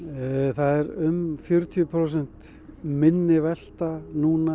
það er um fjörutíu prósent minni velta núna